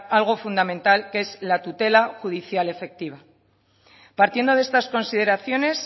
algo fundamental que es la tutela judicial efectiva partiendo de estas consideraciones